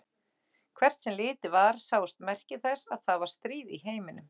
Hvert sem litið var sáust merki þess að það var stríð í heiminum.